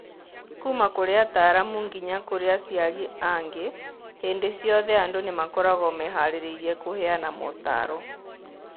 Kuuma kũrĩ ataaramu nginya kũrĩ aciari angĩ, hĩndĩ ciothe andũ nĩ makoragwo meharĩirie kũheana mootaro.